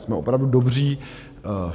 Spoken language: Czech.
Jsme opravdu dobří.